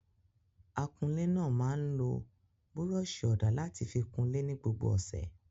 Akunlé náà máa ń lo búrọ́ṣì ọ̀dà láti fi kunlé ní gbogbo ọ̀sẹ̀.